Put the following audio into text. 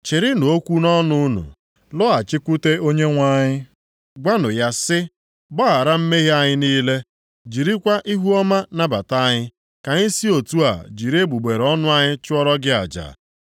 Chịrịnụ okwu nʼọnụ unu lọghachikwute Onyenwe anyị. Gwanụ ya sị, “Gbaghara mmehie anyị niile, jirikwa ihuọma nabata anyị, ka anyị si otu a jiri egbugbere ọnụ anyị chụọrọ gị aja.